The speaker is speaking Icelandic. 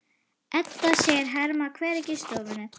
Edda sér Hemma hvergi í stofunni.